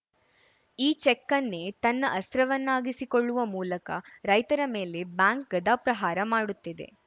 ಈ ಚೆಕ್‌ನ್ನೇ ತನ್ನ ಅಸ್ತ್ರವನ್ನಾಗಿಸಿಕೊಳ್ಳುವ ಮೂಲಕ ರೈತರ ಮೇಲೆ ಬ್ಯಾಂಕ್‌ ಗದಾಪ್ರಹಾರ ಮಾಡುತ್ತಿದೆ